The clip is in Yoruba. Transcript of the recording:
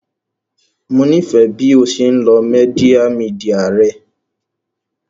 Mo nifẹ bi o ṣe nlo media media rẹ